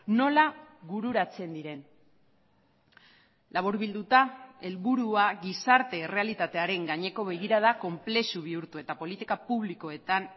nola bururatzen diren laburbilduta helburua gizarte errealitatearen gaineko begirada konplexu bihurtu eta politika publikoetan